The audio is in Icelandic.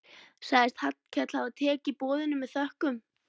Sagðist Hallkell hafa tekið boðinu með þökkum.